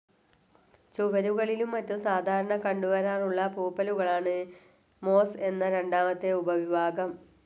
ചുവരുകളിലും മറ്റും സാധാരണ കണ്ടുവരാറുള്ള പൂപ്പലുകളാണ് മോസ്‌ എന്ന രണ്ടാമത്തെ ഉപവിഭാഗം.